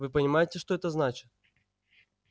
вы понимаете что это значит